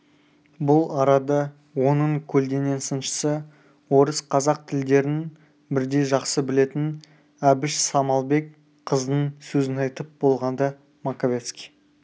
бұл арада оның көлденең сыншысы орыс қазақ тілдерін бірдей жақсы білетін әбіш самалбек қыздың сөзін айтып болғанда маковецкий